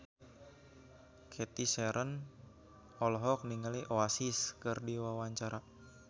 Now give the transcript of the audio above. Cathy Sharon olohok ningali Oasis keur diwawancara